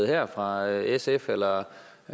her fra sf eller